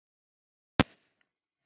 Núna loksins bifaðist röddin